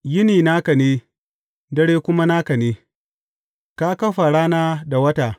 Yini naka ne, dare kuma naka ne; ka kafa rana da wata.